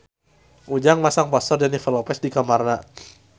Ujang masang poster Jennifer Lopez di kamarna